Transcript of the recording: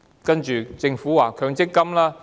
接着，政府提出強積金。